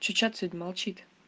что чат сегодня молчит